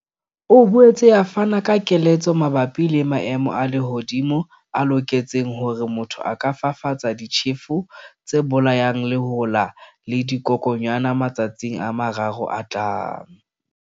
E boetse e fana ka keletso mabapi le maemo a lehodimo a loketseng hore motho a ka fafatsa ditjhefo tse bolayang lehola le dikokwanyana matsatsing a mararo a tlang.